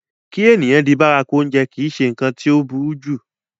kí èèyàn di bárakú oúnjẹ kìí se ǹkan tí ó burú jù